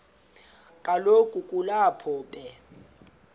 kaloku kulapho be